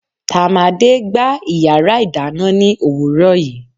tamade gba iyarà idanna ni owùro yìí